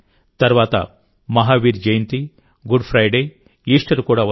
తర్వాతమహావీర్ Jayanti Good Friday Easter కూడా వస్తాయి